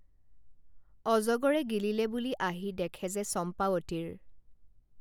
অজগৰে গিলিলে বুলি আহি দেখে যে চম্পাৱতীৰ